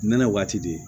Nɛnɛ waati di